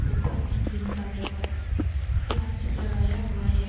ऊपर में green colour का प्लास्टिक लगाया हुआ है।